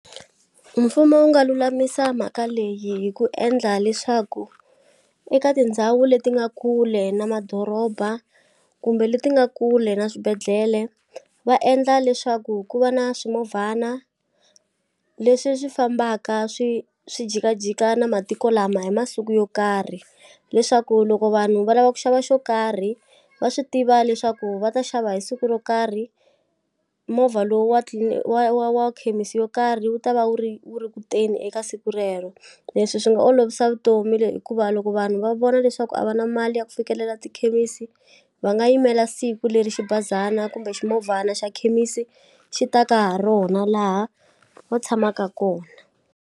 Mfumo wu nga lulamisa mhaka leyi hi ku endla leswaku eka tindhawu leti nga kule na madoroba kumbe leti nga kule na swibedhlele va endla leswaku ku va na swimovhana leswi swi fambaka swi swi jikajika na matiko lama hi masiku yo karhi leswaku loko vanhu va lava ku xava xo karhi va swi tiva leswaku va ta xava hi siku ro karhi movha lowu wa wa wa wa khemisi yo karhi wu ta va wu ri wu ri kutweni eka siku rero leswi swi nga olovisa vutomi hikuva loko vanhu va vona leswaku a va na mali ya ku fikelela tikhemisi va nga yimela siku leri xibazana kumbe swimovhana xa khemisi xi ta ka ha rona laha va tshamaka kona.